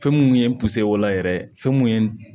Fɛn minnu ye o la yɛrɛ fɛn mun ye